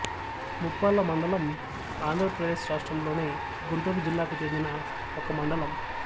ముప్పాళ్ళ మండలంఆంధ్రప్రదేశ్ రాష్ట్రంలోని గుంటూరు జిల్లాకు చెందిన ఒక మండలం